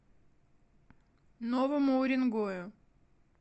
новому уренгою